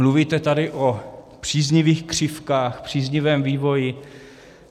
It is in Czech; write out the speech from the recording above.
Mluvíte tady o příznivých křivkách, příznivém vývoji.